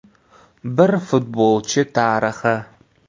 Bir futbolchi tarixi.